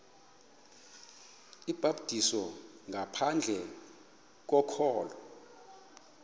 ubhaptizo ngaphandle kokholo